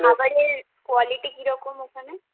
খাবারের quality কিরকম ওখানে?